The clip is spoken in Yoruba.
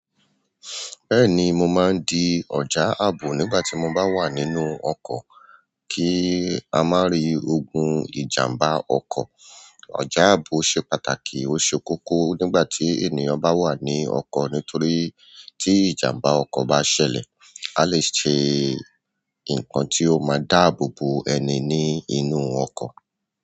Bẹ́ẹ̀ni, mo má ń di ọjà àbò nígbà tí mo bá wà nínú ọkọ̀. Kí a mari ogun ìjàmbá ọkọ̀. Ọjà àbò ṣe pàtàkì, ó ṣe kókó nígbà tí ènìyàn bá wà nínú ọkọ̀ nítorí ti ìjàmbá ọkọ̀ bá ṣẹlẹ̀, a lè ṣe ǹkan tí ó máa dáàbò bò ẹni ní inú ọkọ̀.